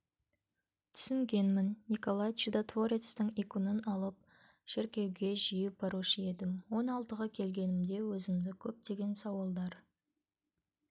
түсінгенмін николай чудотворецтің иконын алып шіркеуге жиі барушы едім он алтыға келгенімде өзімді көптеген сауалдар